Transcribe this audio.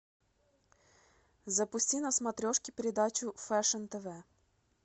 запусти на смотрешке передачу фэшн тв